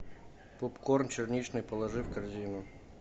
попкорн черничный положи в корзину